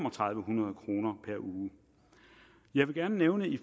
hundrede kroner per uge jeg vil gerne nævne i